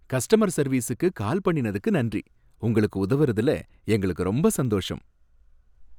Customer சர்வீசுக்கு call பண்ணினதுக்கு நன்றி. உங்களுக்கு உதவுறதுல எங்களுக்கு ரொம்ப சந்தோஷம்.